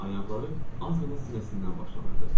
Ayaqları az qala sinəsindən başlanırdı.